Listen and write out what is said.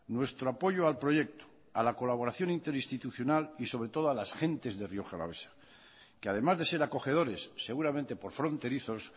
nuestro apoyo al proyecto a la colaboración interinstitucional y sobre todo a las gentes de rioja alavesa que además de ser acogedores seguramente por fronterizos